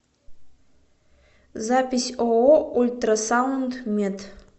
запись ооо ультрасаунд мед